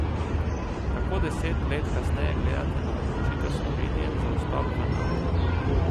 Kako deset let kasneje gledate na odločitev Slovenije za vstop v Nato?